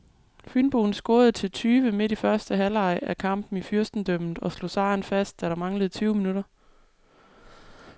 Fynboen scorede til tyve midt i første halvleg af kampen i fyrstendømmet og slog sejren fast, da der manglede tyve minutter.